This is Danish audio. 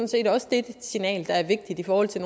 set også det signal der er vigtigt i forhold til